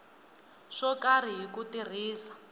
swo karhi hi ku tirhisa